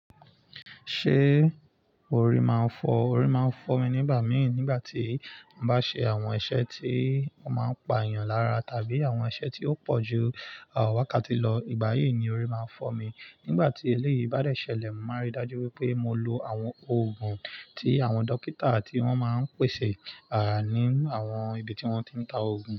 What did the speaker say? Ṣé orí máa ń fọ́? Orí máa ń fọ́ mi nígbà míì nígbà tí mo bá ṣe àwọn iṣẹ́ tí ó máa ń pa èèyàn lára tàbí àwọn iṣẹ́ tí ó pọ̀ ju àwọn wákàtí lọ. Ìgbà yìí ni orí máa ń fọ́ mi. Nígbà tí eléyìí bá dẹ̀ ṣẹlẹ̀, mo máa rí i dájú pé mo lo àwọn òògùn tí àwọn dókítà tí wọ́n máa ń pèsè, à, ní àwọn ibi tí wọ́n ti ń ta òògùn.